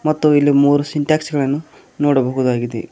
ಮತ್ತು ಇಲ್ಲಿ ಮೂರು ಸಿನ್ತೆಕ್ಸ್ ಗಳನ್ನು ನೋಡಬಹುದಾಗಿದೆ.